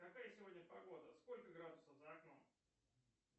какая сегодня погода сколько градусов за окном